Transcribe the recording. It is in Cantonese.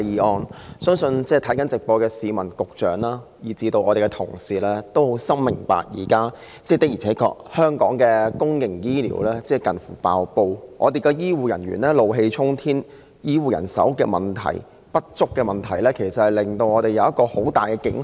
我相信正在觀看電視直播的市民、局長及議員皆深明，香港現時的公營醫療服務確實瀕臨崩潰，醫護人員怒氣沖天，醫護人手不足的問題為我們敲起很大警號。